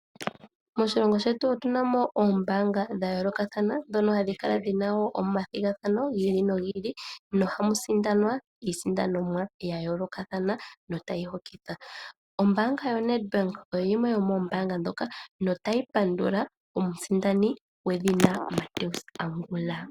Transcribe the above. Moshilongo shetu omuna oombaanga dhayoolokathana ndhono hadhi kala dhina omathigathano giili nogiili nohamu sindanwa iisindanomwa ya yoolokathana notayi hokitha . Ombaanga yaNedbank ohayi yoNedbank oyo yimwe yomoombanga ndhoka notayi pandula Mathew Angula.